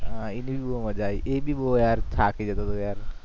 હા એને ભી બહુ મજા આઈ એ ભી બહુ યાર થાકી જતો હતો યાર